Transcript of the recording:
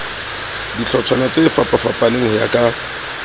dihlotshwana tsefapafapaneng ho ya ka